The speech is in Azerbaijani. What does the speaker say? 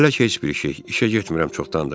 Hələ ki heç bir şey, işə getmirəm çoxdandır.